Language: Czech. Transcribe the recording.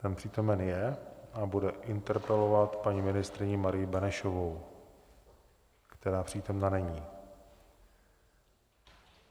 Ten přítomen je a bude interpelovat paní ministryni Marii Benešovou, která přítomna není.